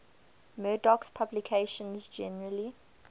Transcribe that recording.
murdoch's publications generally